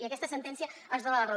i aquesta sentència ens dona la raó